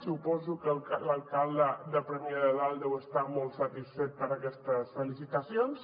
suposo que l’alcalde de premià de dalt deu estar molt satisfet per aquestes felicitacions